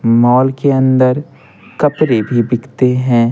Mall के अंदर कपड़े भी बिकते हैं।